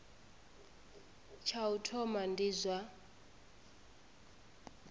tsha u thoma ndi zwa